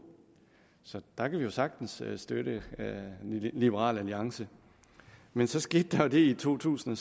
så der kan vi sagtens støtte liberal alliance men så skete der det i to tusind